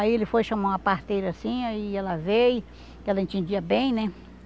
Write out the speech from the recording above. Aí ele foi chamar uma parteira assim, aí ela veio, que ela entendia bem, né?